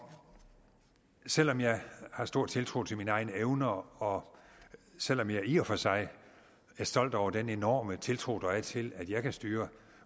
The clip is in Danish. selv om jeg har stor tiltro til mine egne evner og selv om jeg i og for sig er stolt over den enorme tiltro der er til at jeg kan styre